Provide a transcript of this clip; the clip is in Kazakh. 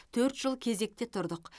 төрт жыл кезекте тұрдық